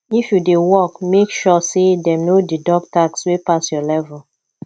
if you dey work make sure say dem no deduct tax wey pass your level